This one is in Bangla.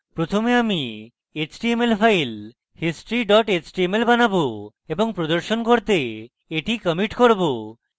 প্রথমে একটি html file history html বানাবো এবং প্রদর্শন করতে এটি কমিটি করব